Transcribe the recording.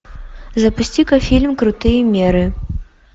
запусти ка фильм крутые меры